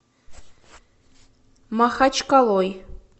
махачкалой